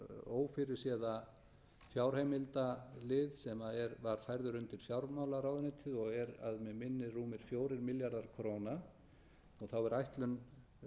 ófyrirséða fjárheimildalið sem var færður undir fjármálaráðuneytið og er að mig minnir rúmir fjórir milljarðar króna og þá er